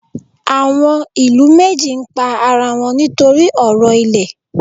Àwọn ìlú méjì ń pa ara wọn nítorí ọ̀rọ̀ ilẹ̀.